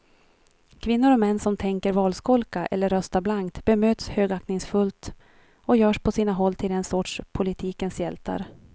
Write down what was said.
Kvinnor och män som tänker valskolka eller rösta blankt bemöts högaktningsfullt och görs på sina håll till en sorts politikens hjältar.